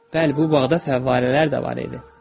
Bəli, bu bağda fəvvarələr də var idi.